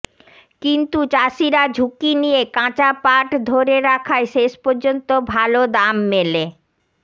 কিন্তু চাষিরা ঝুঁকি নিয়ে কাঁচা পাট ধরে রাখায় শেষ পর্যন্ত ভাল দাম মেলে